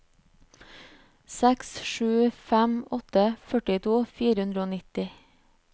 seks sju fem åtte førtito fire hundre og nitti